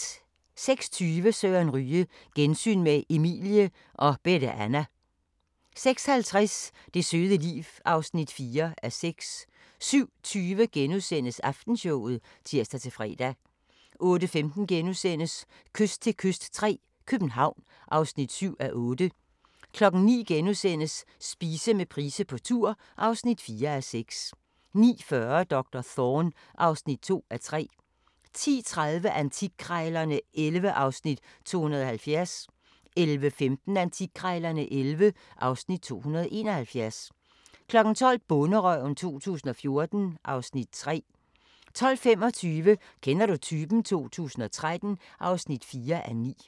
06:20: Søren Ryge: Gensyn med Emilie og Bette Anna 06:50: Det søde liv (4:6) 07:20: Aftenshowet *(tir-fre) 08:15: Kyst til kyst III – København (7:8)* 09:00: Spise med Price på tur (4:6)* 09:40: Doktor Thorne (2:3) 10:30: Antikkrejlerne XI (Afs. 270) 11:15: Antikkrejlerne XI (Afs. 271) 12:00: Bonderøven 2014 (Afs. 3) 12:25: Kender du typen? 2013 (4:9)